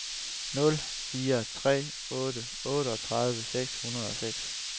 nul fire tre otte otteogtredive seks hundrede og seks